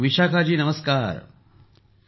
विशाखा जी नमस्कार ।